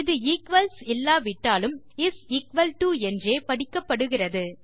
இது ஈக்வல்ஸ் இல்லாவிட்டாலும் is equal to என்றே படிக்கப்படுகிறது